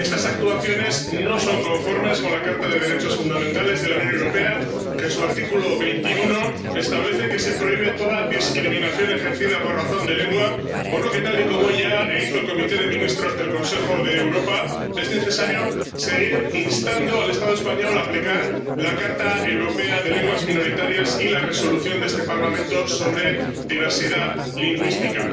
Estas actuaciones no son conformes con la Carta de los Derechos Fundamentales de la Unión Europea, que, en su artículo 21, establece que se prohíbe toda discriminación ejercida por razón de lengua, por lo que, tal y como ya hizo el Comité de Ministros del Consejo de Europa, es necesario seguir instando al Estado español a aplicar la Carta Europea de las Lenguas Minoritarias y la Resolución de este Parlamento sobre diversidad lingüística.